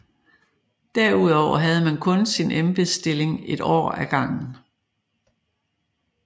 Derudover havde man kun sin embedsstilling et år af gangen